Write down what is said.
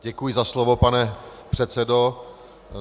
Děkuji za slovo, pane předsedo.